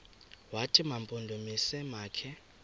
wathi mampondomise makhe